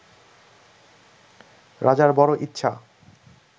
রাজার বড় ইচ্ছা